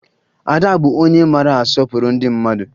Ada bụ onye maara asọpụrụ ndị mmadụ